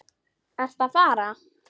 Ertu að fara?